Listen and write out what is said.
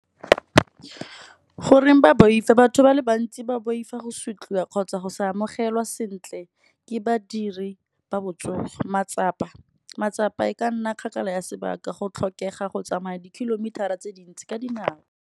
Goreng ba boifa batho ba le bantsi ba boifa go sotliwa kgotsa go sa amogelwa sentle ke badiri ba botsogo. Matsapa, matsapa e ka nna kgakala ya sebaka go tlhokega go tsamaya di kilometer-a tse dintsi ka dinao.